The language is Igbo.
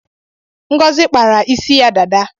Ngozi kpara isi ya dada